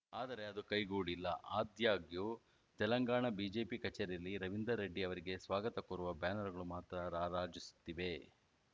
ಆದರೆ ಅದು ಕೈಗೂಡಿಲ್ಲ ಆದಾಗ್ಯೂ ತೆಲಂಗಾಣ ಬಿಜೆಪಿ ಕಚೇರಿಯಲ್ಲಿ ರವೀಂದರ್‌ ರೆಡ್ಡಿ ಅವರಿಗೆ ಸ್ವಾಗತ ಕೋರುವ ಬ್ಯಾನರ್‌ಗಳು ಮಾತ್ರ ರಾರಾಜಿಸುತ್ತಿವೆ